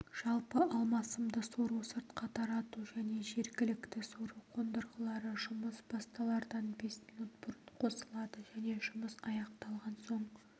жалпы алмасымды сору-сыртқа тарату және жергілікті сору қондырғылары жұмыс басталардан бес минут бұрын қосылады және жұмыс аяқталған соң